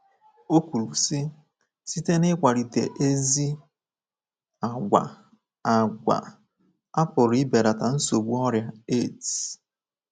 O kwuru sị, “ Site n’ịkwalite ezi àgwà,, a àgwà,, a pụrụ ibelata nsogbu ọrịa AIDS. ”